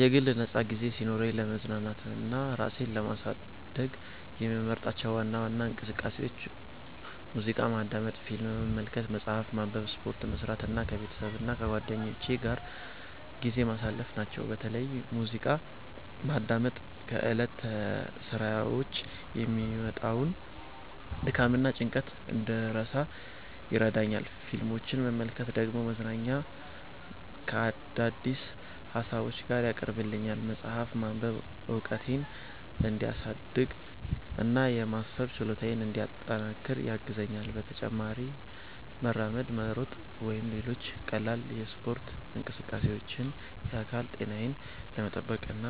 የግል ነፃ ጊዜ ሲኖረኝ ለመዝናናትና ራሴን ለማስደሰት የምመርጣቸው ዋና ዋና እንቅስቃሴዎች ሙዚቃ ማዳመጥ፣ ፊልም መመልከት፣ መጽሐፍ ማንበብ፣ ስፖርት መስራት እና ከቤተሰብና ከጓደኞቼ ጋር ጊዜ ማሳለፍ ናቸው። በተለይ ሙዚቃ ማዳመጥ ከዕለታዊ ሥራዎች የሚመጣውን ድካምና ጭንቀት እንድረሳ ይረዳኛል፣ ፊልሞችን መመልከት ደግሞ መዝናኛን ከአዳዲስ ሀሳቦች ጋር ያቀርብልኛል። መጽሐፍ ማንበብ እውቀቴን እንዲያሳድግ እና የማሰብ ችሎታዬን እንዲያጠናክር ያግዘኛል። በተጨማሪም መራመድ፣ መሮጥ ወይም ሌሎች ቀላል የስፖርት እንቅስቃሴዎች የአካል ጤናዬን ለመጠበቅ እና